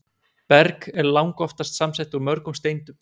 Berg er langoftast samsett úr mörgum steindum.